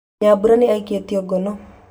Nyambura nĩ aikĩtio ngono